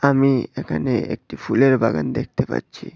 আমি এখানে একটি ফুলের বাগান দেখতে পাচ্ছি।